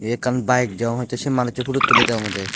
ye ekkan bayek degong tey sey manuccho pudut tulledey obodey.